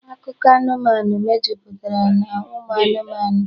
Akụkọ anụmanụ mejupụtara n'ụmụ anụmanụ